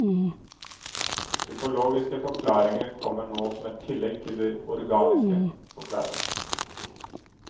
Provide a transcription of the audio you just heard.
Psykologiske forklaringer kommer nå som et tillegg til de organiske, forklarer han.